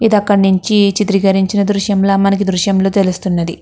ఇది అక్కడి నుంచి ఈ చిత్రీకరించిన దృశ్యంలా మనకి దృశ్యంలో తెలుస్తున్నది.